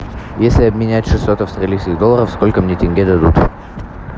если обменять шестьсот австралийских долларов сколько мне тенге дадут